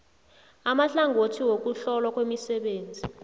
amahlangothi wokuhlolwa kwemisebenzi